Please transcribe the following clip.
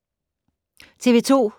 TV 2